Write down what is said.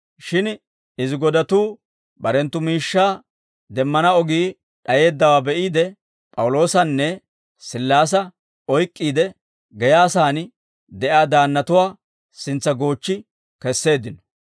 Shin izi godatuu barenttu miishshaa demmana ogii d'ayeeddawaa be'iide, P'awuloosanne Sillaasa oyk'k'iide, geyaa sa'aan de'iyaa daannatuwaa sintsa goochchi kesseeddino.